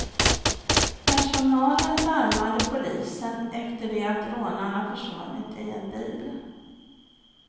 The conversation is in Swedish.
Personalen larmade polisen efter det att rånarna försvunnit i en bil.